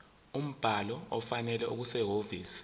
umbhalo ofanele okusehhovisi